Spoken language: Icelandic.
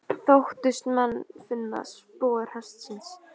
Þóttust menn finna spor hestsins.